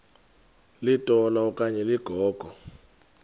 litola okanye ligogo